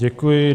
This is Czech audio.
Děkuji.